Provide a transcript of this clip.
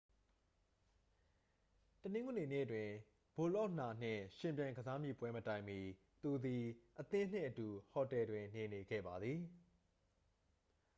တနင်္ဂနွေနေ့တွင် ဘိုလော့နာနှင့်ယှဉ်ပြိုင် ကစားမည့်ပွဲမတိုင်မီ သူသည် အသင်းနှင့်အတူ ဟိုတယ်တွင်နေနေခဲ့ပါသည်